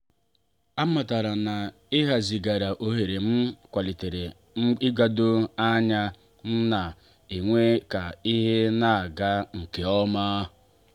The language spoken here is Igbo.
a matara na ihazighari ohere m kwalitere igbado anya m ma mee ka ihe na-aga nke ọma.